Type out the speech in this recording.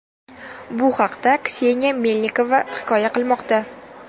Bu haqda Kseniya Melnikova hikoya qilmoqda .